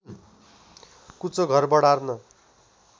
कुचो घर बढार्न